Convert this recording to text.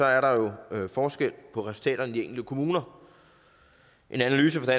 er der forskel på resultaterne i de enkelte kommuner en analyse fra